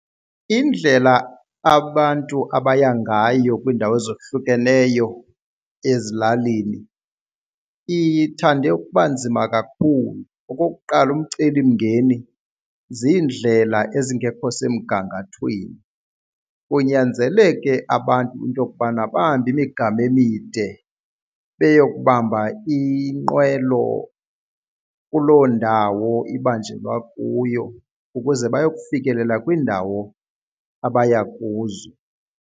Indlela abantu abaya ngayo kwiindawo ezohlukeneyo ezilalini ithande ukuba nzima kakhulu. Okokuqala umcelimngeni ziindlela ezingekho semgangathweni kunyanzeleke abantu into yokubana bahambe imigama emide beyokubamba inqwelo kuloo ndawo ibanjelwa kuyo ukuze bayokufikelela kwiindawo abaya kuzo.